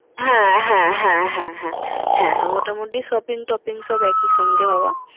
হ্যাঁ হ্যাঁ হ্যাঁ হ্যাঁ হ্যাঁ হ্যাঁ মোটামুটি shopping টপিং সবই একই সঙ্গে হবা।